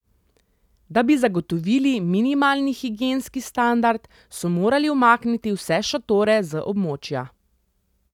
Da bi zagotovili minimalni higienski standard, so morali umakniti vse šotore z območja.